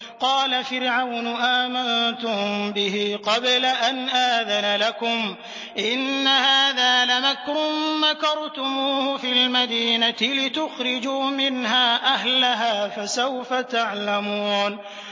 قَالَ فِرْعَوْنُ آمَنتُم بِهِ قَبْلَ أَنْ آذَنَ لَكُمْ ۖ إِنَّ هَٰذَا لَمَكْرٌ مَّكَرْتُمُوهُ فِي الْمَدِينَةِ لِتُخْرِجُوا مِنْهَا أَهْلَهَا ۖ فَسَوْفَ تَعْلَمُونَ